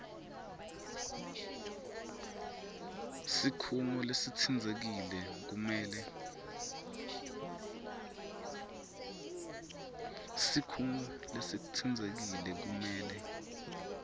sikhungo lesitsintsekile kumele